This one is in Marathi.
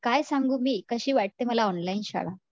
काय सांगू मी कशी वाटते मला ऑनलाईन शाळा